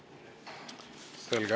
Selge.